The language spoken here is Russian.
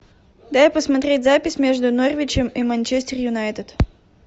дай посмотреть запись между норвичем и манчестер юнайтед